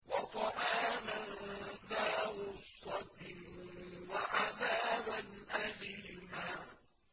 وَطَعَامًا ذَا غُصَّةٍ وَعَذَابًا أَلِيمًا